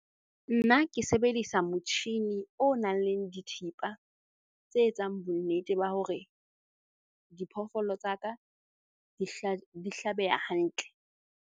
Nna ke sebedisa motjhini o nang le dithipa tse etsang bonnete ba hore diphoofolo tsa ka di di hlabeha hantle.